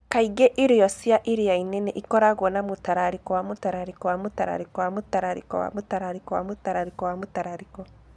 Kaingĩ irio cia iria-inĩ nĩ ikoragwo na mũtararĩko wa mũtararĩko wa mũtararĩko wa mũtararĩko wa mũtararĩko wa mũtararĩko wa mũtararĩko.